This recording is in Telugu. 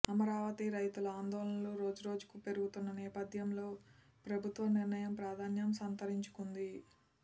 అమరావతి రైతుల ఆందోళనలు రోజురోజుకూ పెరుగుతున్న నేపథ్యంలో ప్రభుత్వ నిర్ణయం ప్రాధాన్యం సంతరించుకుంది